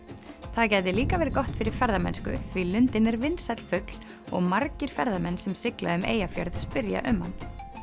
það gæti líka verið gott fyrir ferðamennsku því lundinn er vinsæll fugl og margir ferðamenn sem sigla um Eyjafjörð spyrja um hann